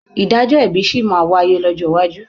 Ìdájọ́ ẹ̀bi sì máa wáyé lọ́jọ́ iwájú.